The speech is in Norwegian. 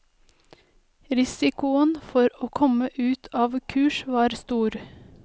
Risikoen for å komme ut av kurs var stor.